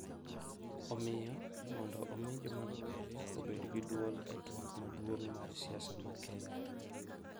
Omiyo, mondo omi joma rowere obed gi dwol e twak maduong’ mar siasa ma Kenya,